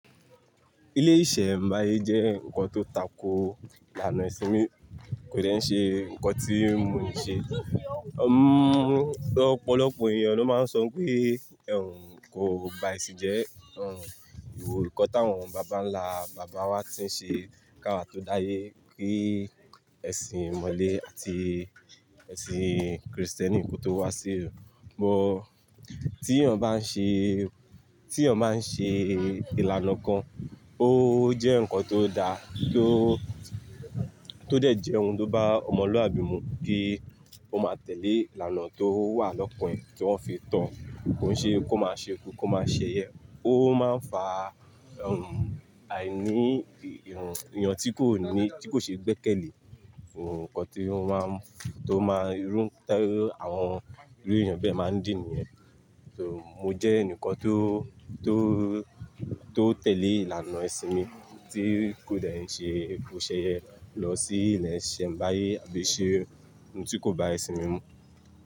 Ilé-ìṣẹ̀ m̀báyé jẹ́ nkàn tó tákò ìlànà èṣin mi kòde n ṣe nkàn tí mo n ṣe. Ọ̀pọ̀lọ̀pọ̀ ènìyàn ló má n sọ pé ẹ̀ n kò ba èṣin jẹ́, ẹ̀ n ìwọ̀ nkàn táwọn bàbánla bàbá wa ti n ṣe káwà tó dáyé kí èṣin ìmọ̀lẹ̀ àti èṣin Kristẹ́nì kò tó wà sílu. Bút tí ẹ̀eyàn bá n ṣẹ̀, tí ẹ̀eyan bá n ṣẹ̀ ìlànà kàn, ọ̀ jẹ́ nkàn tó daá tó dẹ̀ jẹ́ ohun tó bá ọ̀mọ̀lúàbí mú kí o má tẹ̀lẹ̀ ìlànà tó wà lọ́kan ẹ̀n tí wọn fí to, kói ṣẹ́, kó má ṣẹyen. Ò má n fà àínì èeyàn tí kò ní, tí kò ṣe gbẹkẹ́lẹ̀ nkàn tí ó má n tó má rún tẹ́ àwọn ìru èeyàn bẹ má n dín niyẹ̀n. So mo jẹ́ ẹ̀nìkàn tó, tó, tó tẹ̀lẹ̀ ìlànà èṣin mi tí kòde n ṣe kó ṣẹyẹ lọ sí ilé-ìṣẹ̀ m̀báyé àbí ṣẹ̀ ohun tí kò ba èṣin mi mú.